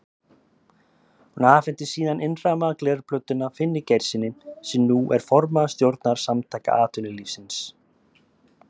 Hún afhenti síðan innrammaða glerplötuna Finni Geirssyni, sem nú er formaður stjórnar Samtaka atvinnulífsins.